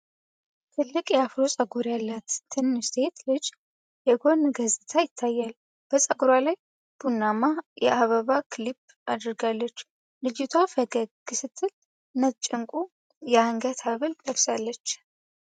ትልቅ የአፍሮ ፀጉር ያላት ትንሽ ሴት ልጅ የጎን ገጽታ ይታያል። በፀጉሯ ላይ ቡናማ የአበባ ክሊፕ አድርጋለች። ልጅቷ ፈገግ ስትል ነጭ ዕንቁ የአንገት ሐብል ለብሳለች።